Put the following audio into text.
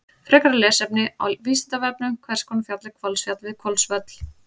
Frekara lesefni á Vísindavefnum: Hvers konar fjall er Hvolsfjall við Hvolsvöll?